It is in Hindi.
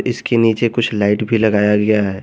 इसके नीचे कुछ लाइट भी लगाया गया है।